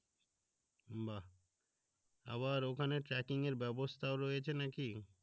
বাহ আবার ওখানে ট্রাকিং এর ব্যাবস্থাও রয়েছে নাকি?